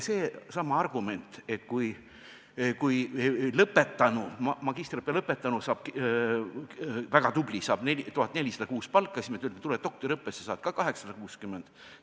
Seesama argument: magistriõppe väga tubli lõpetanu saaks tööle läinuna kuus 1400 eurot palka, meie aga ütleme, et tule doktoriõppesse, saad 660 eurot palka.